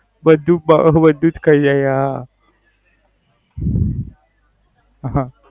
બધુજ બ. બધું જ ખાય હે હા. હમ